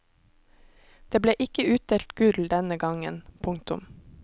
Det ble ikke utdelt gull denne gang. punktum